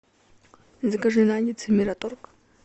закажи наггетсы мираторг